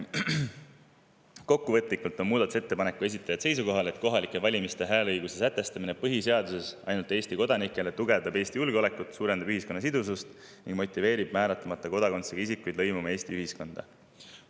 Kokkuvõtlikult on muudatusettepaneku esitajad seisukohal, et kohalike valimiste hääleõiguse sätestamine põhiseaduses ainult Eesti kodanikele tugevdab Eesti julgeolekut, suurendab ühiskonna sidusust ning motiveerib määratlemata kodakondsusega isikuid lõimuma Eesti ühiskonda.